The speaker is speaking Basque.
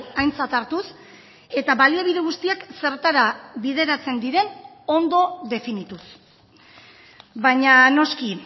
aintzat hartuz eta baliabide guztiak zertara bideratzen diren ondo definituz baina noski